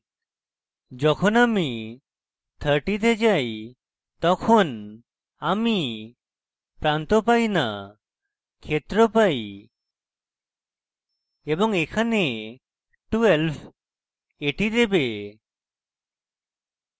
যখন আমি 30 তে যাই তখন আমি প্রান্ত পাই না ক্ষেত্র পাই এবং এখানে 12 এটি দেবে